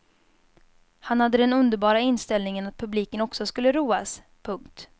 Han hade den underbara inställningen att publiken också skulle roas. punkt